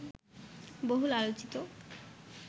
বহুল আলোচিত